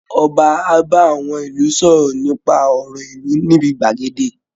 Ọba á bá àwọn ìlú sọ̀rọ̀ nípa ọ̀rọ̀ ìlú ní ibi gbàgede